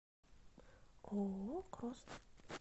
ооо крост